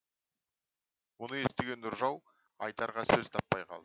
мұны естіген нұржау айтарға сөз таппай қалды